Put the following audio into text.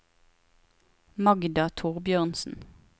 Magda Thorbjørnsen